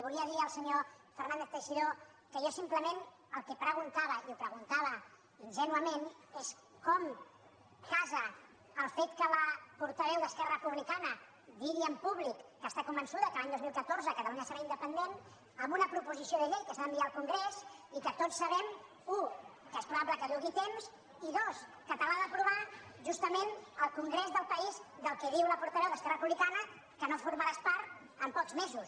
volia dir al senyor fernández teixidó que jo simplement el que preguntava i ho preguntava ingènuament és com casa el fet que la portaveu d’esquerra republicana digui en públic que està convençuda que l’any dos mil catorze catalunya serà independent amb una proposició de llei que s’ha d’enviar al congrés i que tots sabem u que és probable que dugui temps i dos que te l’ha d’aprovar justament el congrés del país de què diu la portaveu d’esquerra republicana que no formaràs part en pocs mesos